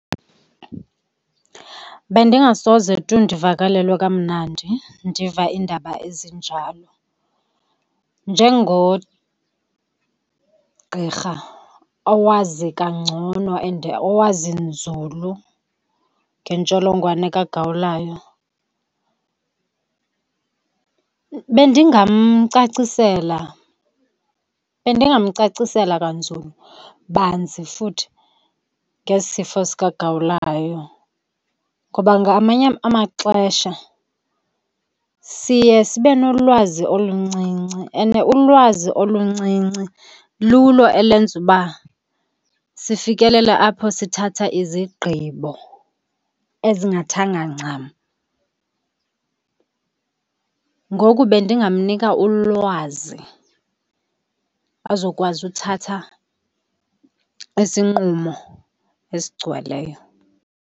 Bendingasoze tu ndivakalelwe kamnandi ndiva iindaba ezinjalo. Njengogqirha owazi kangcono and owazi nzulu ngentsholongwane kagawulayo, bendingamcacisela, bendingamcacisela kanzulu banzi futhi ngesi sifo sikagawulayo. Ngoba ngamanye amaxesha siye sibe nolwazi oluncinci, and ulwazi oluncinci lulo elenza uba sifikelele apho sithatha izigqibo ezingathanga ncam. Ngoku bendingamnika ulwazi azokwazi uthatha isinqumo esigcweleyo.